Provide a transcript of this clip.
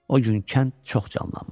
O gün kənd çox canlanmışdı.